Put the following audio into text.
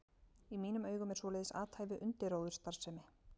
Í mínum augum er svoleiðis athæfi undirróðursstarfsemi.